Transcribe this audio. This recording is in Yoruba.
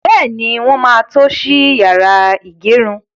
Bẹ́ẹ̀ni, wọ́n máa tó ṣí yàrá ìgẹrun.